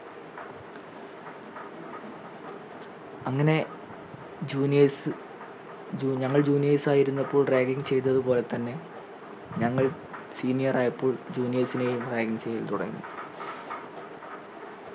അങ്ങനെ juniors ജു ഞങ്ങൾ juniors ആയിരുന്നപ്പോൾ ragging ചെയ്തത് പോലെ തന്നെ ഞങ്ങൾ senior ആയപ്പോൾ juniors നെയും ragging ചെയ്തു തുടങ്ങി